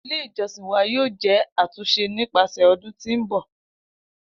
Ile ijọsin wa yoo jẹ atunṣe nipasẹ ọdun ti nbọ.